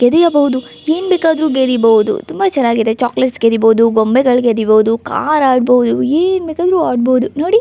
ಗೆದಿಯಬಹುದು ಏನ್ಬೇಕಾದ್ರು ಗೆದಿಬಹುದು ತುಂಬಾ ಚನ್ನಾಗಿದೆ ಚೊಕೊಲೇಟ್ಸ್ ಗೆದಿಬಹುದು ಗೊಂಬೆಗಳು ಗೆದಿಬಹುದು ಕಾರ್ ಆಡಬಹುದು ಏನ್ ಬೇಕಾದ್ರು ಆಡಬಹುದು ನೋಡಿ.